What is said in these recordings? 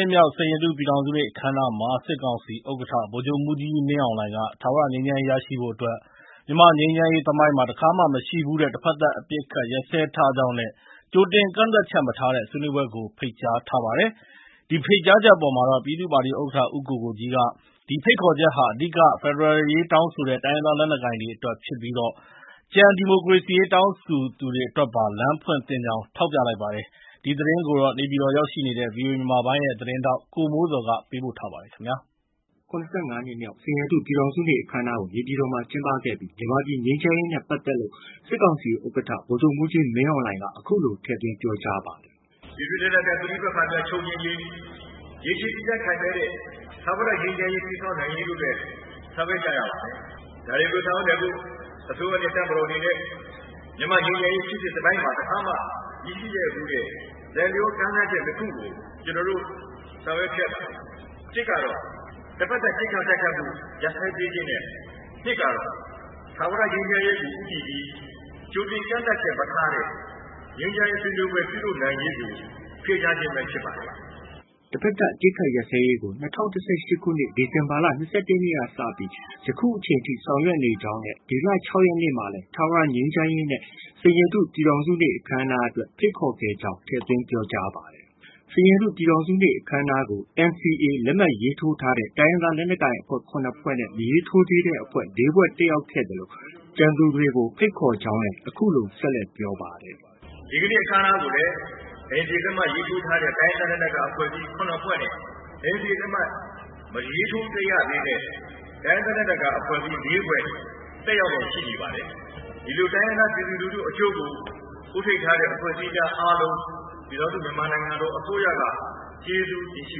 ှစ်မြောက် စိန်ရတု ပြည်ထောင်စုနေ့ အခမ်းအနားမှာ စစ်ကောင်စီဥက္ကဋ္ဌ ဗိုလ်ချုပ်မှူးကြီးမင်းအောင်လှိုင်က ထာဝရငြိမ်းချမ်းရေး ရရှိဖို့အတွက် မြန်မာ့ငြိမ်းချမ်းရေးသမိုင်းမှာ တခါမှ မရှိဘူးတဲ့ တဖက်သတ် အပစ်အခတ် ရပ်စဲထားကြောင်းနဲ့ ကြိုတင်ကန့်သတ်ချက် မထားတဲ့ ဆွေးနွေးပွဲကို ဖိတ်ကြားထားပါတယ်။ ဒီဖိတ်ကြားချက်အပေါ်မှာ ပြည်သူ့ပါတီဥက္ကဋ္ဌ ဦးကိုကိုကြီးက ဒီဖိတ်ခေါ်ချက်ဟာ အဓိက ဖက်ဒရယ်ရေး တောင်းဆိုတဲ့ တိုင်းရင်းသား လက်နက်ကိုင်တွေအတွက် ဖြစ်ပြီး ကျန် ဒီမိုကရေစီရေး တောင်းဆိုသူတွေ အတွက်ပါ လမ်းဖွင့်သင့်ကြောင်း ထောက်ပြပါတယ်။ ဒီသတင်းကို နေပြည်တော် ရောက်ရှိနေတဲ့ ဗွီအိုအေမြန်မာပိုင်းရဲ့သတင်းထောက် ကိုမိုးဇော်က တင်ပြထားပါတယ်။ ၇၅ နှစ်မြောက် စိန်ရတု ပြည်ထောင်စုနေ့ အခမ်းအနားကို နေပြည်တော်မှာ ကျင်းပခဲ့ပြီး မြန်မာပြည် ငြိမ်းချမ်းရေးနဲ့ ပတ်သက်လို့ စစ်ကောင်စီဥက္ကဋ္ဌ ဗိုလ်ချုပ်မှူးကြီးမင်းအောင်လှိုင်က အခုလို ထည့်သွင်း ပြောကြားပါတယ်။ “ပြည်တွင်းလက်နက်ကိုင် ပဋိပက္ခများ ချုပ်ငြိမ်းရေး၊ ရေရှည်တည်တံ့ခိုင်မြဲတဲ့ ထာဝရငြိမ်းချမ်းရေး တည်ဆောက်နိုင်ရေးတို့အတွက် ဆောင်ရွက်ကြရပါမယ်။ ဒါတွေကို ဆောင်ရွက်နိုင်ဖို့ အစိုးရနဲ့ တပ်မတော်အနေနဲ့ မြန်မာ့ငြိမ်းချမ်းရေးဖြစ်စဉ် သမိုင်းမှာ တခါမှ မရှိခဲ့ဘူးတဲ့ လိုက်လျောကမ်းလှမ်းချက် နှစ်ခုကို ကျနော်တို့ ဆောင်ရွက်ခဲ့ပါတယ်။ တစ်ကတော့ တဖက်သတ် ပစ်ခတ်တိုက်ခိုက်မှု ရပ်စဲပေးခြင်းနဲ့ နှစ်ကတော့ ထာဝရငြိမ်းချမ်းရေးကို ဦးတည်ပြီး ကြိုတင်ကန့်သတ်ချက် မထားတဲ့ ငြိမ်းချမ်းရေး ဆွေးနွေးပွဲ ပြုလုပ်နိုင်ရေးကို ဖိတ်ကြားခြင်းပဲ ဖြစ်ပါတယ်။” တဖက်သတ် အပစ်အခတ်ရပ်စဲရေးကို ၂၀၁၈ ခုနှစ် ဒီဇင်ဘာလ ၂၁ ရက်ကစပြီး ယခုအချိန်ထိ ဆောင်ရွက်နေကြောင်းနဲ့ ဒီလ ၆ ရက်နေ့မှာလည်း ထာဝရငြိမ်းချမ်းရေးနဲ့ စိန်ရတု ပြည်ထောင်စုနေ့ အခမ်းအနားအတွက် ဖိတ်ခေါ်ခဲ့ကြောင်း ထည့်သွင်း ပြောကြားပါတယ်။ စိန်ရတု ပြည်ထောင်စုနေ့ အခမ်းအနားကို NCA လက်မှတ်ရေးထိုးထားတဲ့ တိုင်းရင်းသား လက်နက်ကိုင်အဖွဲ့ ၇ ဖွဲ့နဲ့ မရေးထိုးသေးတဲ့အဖွဲ့ ၄ ဖွဲ့ တက်ရောက်ခဲ့သလို ကျန်သူတွေကို ဖိတ်ခေါ်ကြောင်းလည်း အခုလို ဆက်လက်ပြောပါတယ်။ “ဒီနေ့အခမ်းအနားကိုလည်း NCA လက်မှတ်ရေးထိုးထားတဲ့ တိုင်းရင်းသား လက်နက်ကိုင်အဖွဲ့အစည်း ၇ ဖွဲ့နဲ့ NCA လက်မှတ် မရေးထိုးရသေးတဲ့ တိုင်းရင်းသား လက်နက်ကိုင်အဖွဲ့ ၄ ဖွဲ့ တက်ရောက်လျက်ရှိနေပါတယ်။ ဒီလို တိုင်းရင်းသား ပြည်သူလူထုအကျိုးကို ဦးထိပ်ထားတဲ့ အဖွဲ့အစည်းများ အားလုံး ပြည်ထောင်စု မြန်မာနိုင်ငံတော် အစိုးရက ကျေးဇူးတင်ရှိ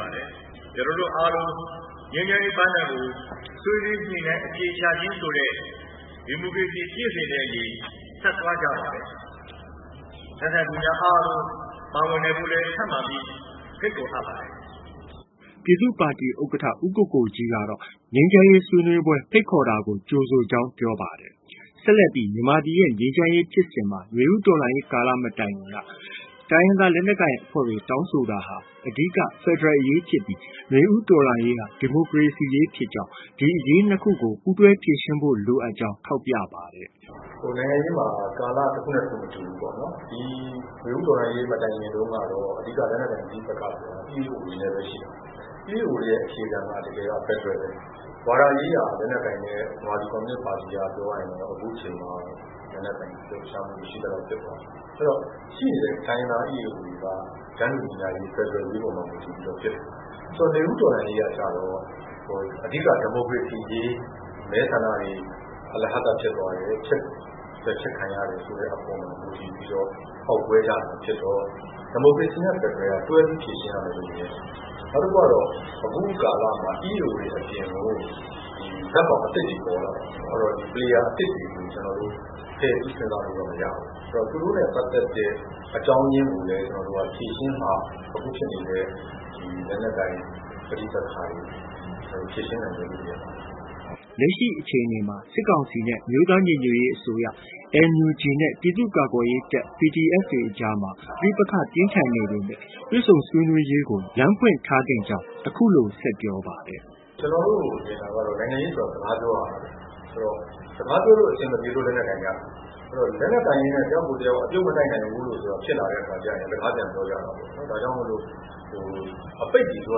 ပါတယ်။ ကျနော်တို့အားလုံး ငြိမ်းချမ်းရေးပန်းတိုင်ကို ဆွေးနွေးညှိနှိုင်း အဖြေရှာခြင်းဆိုတဲ့ ဒီမိုကရေစီကျင့်စဉ်နဲ့အညီ ဆက်သွားကြပါမယ်။ လက်ခံသူများအားလုံး ပါဝင်နိုင်ဖို့ကိုလည်း ဖိတ်ခေါ်ထားပါတယ်။” ပြည်သူ့ပါတီဥက္ကဋ္ဌ ဦးကိုကိုကြီးကတော့ ငြိမ်းချမ်းရေးဆွေးနွေးပွဲ ဖိတ်ခေါ်တာကို ကြိုဆိုကြောင်း ပြောပါတယ်။ ဆက်လက်ပြီး မြန်မာပြည်ရဲ့ ငြိမ်းချမ်းရေးဖြစ်စဉ်မှာ နွေဦးတော်လှန်ရေးကာလ မတိုင်မီက တိုင်းရင်းသား လက်နက်ကိုင်တွေ တောင်းဆိုမှုဟာ အဓိက ဖက်ဒရယ်အရေးဖြစ်ပြီး နွေဦးတော်လှန်ရေးဟာ ဒီမိုကရေစီရေးဖြစ်ကြောင်း၊ ဒီအရေးနှစ်ခု ပူးတွဲဖြေရှင်းဖို့ လိုအပ်ကြောင်း ထောက်ပြပါတယ်။ “နိုင်ငံရေးမှာ ကာလတခုနဲ့တခု မတူဘူးပေါ့နော်။ နွေဦးတော်လှန်ရေး မတိုင်ခင်တုန်းကတော့ အဓိက လက်နက်ကိုင်ပဋိပက္ခဆိုတာ EAO တွေနဲ့ပဲရှိတာ။ EAO တွေရဲ့ အခြေခံက တကယ်က ဖက်ဒရယ်ပဲ။ ဝါဒရေးရာအရ လက်နက်ကိုင်တဲ့ ကွန်မြူနစ်ပါတီက အခုချိန်မှာ ပြောရရင် လက်နက်ကိုင်လှုပ်ရှားမှု မရှိသလောက် ဖြစ်သွားပြီ။ အဲတော့ ရှိနေတဲ့ EAO တွေက တန်းတူညီမျှရေး၊ ဖက်ဒရယ်အရေးပေါ်မှာ မူတည်ပြီးတော့ ဖြစ်တာ။ နွေဦးတော်လှန်ရေးကျတော့ အဓိက ဒီမိုကရေစီရေး၊ မဲဆန္ဒတွေ အလဟဿ ဖြစ်သွားတယ်၊ ပယ်ဖျက်ခံရတယ်ဆိုတဲ့ အပေါ်မှာ မူတည်ပြီးတော့ ပေါက်ကွဲကြတာဖြစ်တော့ ဒီမိုကရေစီနဲ့ ဖက်ဒရယ်က တွဲပြီး ဖြေရှင်းရမယ်လို့ မြင်တယ်။ နောက်တခုကတော့ အခုကာလမှ EAO တွေအပြင်ကို ဇာတ်ကောင်အသစ်တွေ ပေါ်လာပြီ။ အဲတော့ Player အသစ်တွေကို ကျနော်တို့ ဖယ်ပြီး စဉ်းစားလို့တော့ မရဘူး။ အဲတော့ သူတို့နဲ့ပတ်သက်တဲ့ အကြောင်းရင်းကိုလည်း ဖြေရှင်းမှ အခုဖြစ်နေတဲ့ လက်နက်ကိုင်ပဋိပက္ခတွေ ဖြေရှင်းနိုင်မယ်လို့ မြင်ပါတယ်။” လက်ရှိအခြေအနေမှာ စစ်ကောင်စီနဲ့ အမျိုးသားညီညွတ်ရေးအစိုးရ (NUG) နဲ့ ပြည်သူ့ကာကွယ်ရေးတပ် (PDF) တွေအကြားမှာ ပဋိပက္ခ ပြင်းထန်နေပေမယ့် တွေ့ဆုံဆွေးနွေးရေးကို လမ်းဖွင့်ထားသင့်ကြောင်း အခုလို ပြောပါတယ်။ “ကျနော်တို့ မြင်တာကတော့ နိုင်ငံရေးဆိုတာ စကားပြောရတာပဲ။ စကားပြောလို့ အဆင်မပြေလို့ လက်နက်ကိုင်ကြတာ။ ဆိုတော့ လက်နက်ကိုင်ရင်းနဲ့ တယောက်နဲ့တယောက် အပြုတ်မတိုက်နိုင်ဘူးဆိုတာ ဖြစ်လာကြရင် စကားပြန်ပြောကြတာပေါ့နော်။ ဒါကြောင့်မို့လို့ အပိတ်တွေ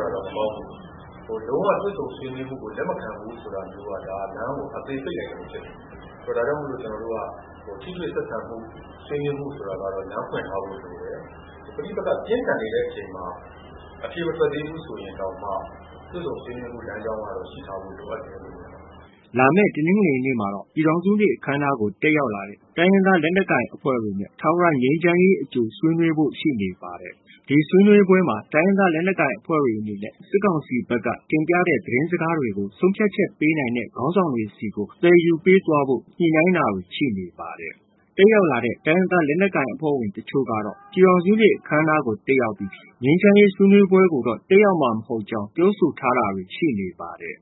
ပြောတာတော့ မကောင်းဘူး။ လုံးဝ တွေ့ဆုံဆွေးနွေးရေးကို လက်မခံဘူးက လမ်းကို အသေပိတ်လိုက်သလို ဖြစ်သွားတာ။ ဒါကြောင့် ကျနော်တို့က ထိတွေ့ဆက်ဆံမှု ဆွေးနွေးဖို့ ဆိုတာကတော့ လမ်းဖွင့်ထားဖို့ လိုတယ်။ ပဋိပက္ခ ပြင်းထန်နေတဲ့အချိန်မှာ အဖြေမထွက်သေးဘူး ဆိုရင်တောင်မှ တွေ့ဆုံဆွေးနွေးဖို့ လမ်းကြောင်းကတော့ ရှိထားဖို့ လိုအပ်တယ်လို့ မြင်ပါတယ်။” လာမယ့် တနင်္ဂနွေနေ့မှာတော့ ပြည်ထောင်စုနေ့ အခမ်းအနားကို တက်ရောက်လာတဲ့ တိုင်းရင်းသား လက်နက်ကိုင်အဖွဲ့တွေနဲ့ ထာဝရငြိမ်းချမ်းရေး အကြိုဆွေးနွေးဖို့ ရှိနေပါတယ်။ ဒီဆွေးနွေးပွဲမှာတော့ တိုင်းရင်းသား လက်နက်ကိုင်အဖွဲ့တွေ အနေနဲ့ စစ်ကောင်စီဘက်က တင်ပြတဲ့ သတင်းစကားတွေကို ဆုံးဖြတ်ချက်ပေးနိုင်တဲ့ ခေါင်းဆောင်တွေကို သယ်ယူပေးသွားဖို့ ညှိနှိုင်းတာတွေ ရှိနေပါတယ်။ တက်ရောက်လာတဲ့ တိုင်းရင်းသား လက်နက်ကိုင်အဖွဲ့ဝင် အချို့ကတော့ ပြည်ထောင်စုနေ့ အခမ်းအနားကို တက်ရောက်ပြီး ငြိမ်းချမ်းရေး ဆွေးနွေးပွဲကိုတော့ တက်ရောက်မှာ မဟုတ်ကြောင်း ပြောဆိုထားတာတွေ ရှိနေပါတယ်။